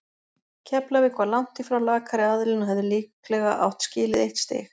Keflavík var langt í frá lakari aðilinn og hefði líklega átt skilið eitt stig.